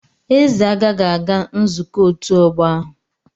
Eze agaghị aga nzukọ otu ogbo ahu.